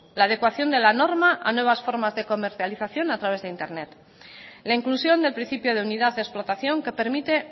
la adecuación de la norma a nuevas formas de comercialización a través de internet la inclusión del principio de unidad de explotación que permite